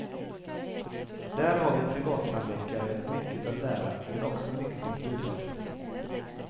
Där har vi privattandläkare mycket att lära, men också mycket att bidra med.